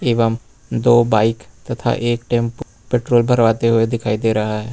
एवं दो बाइक तथा एक टेम्पु पेट्रोल भरवाते हुए दिखाई दे रहा है।